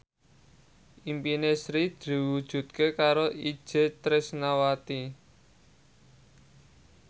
impine Sri diwujudke karo Itje Tresnawati